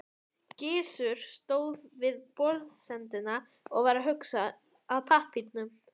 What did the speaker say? Árni Páll Árnason: Við aðildarumsókn að Evrópusambandinu?